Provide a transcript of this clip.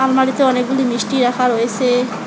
অনেকগুলি মিষ্টি রাখা রয়েসে ।